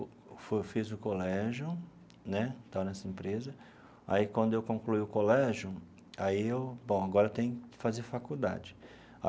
Eu fiz o colégio né, estava nessa empresa, aí quando eu concluí o colégio aí eu, bom, agora eu tenho que fazer faculdade.